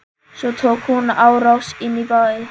Svo tók hún á rás inn í bæ.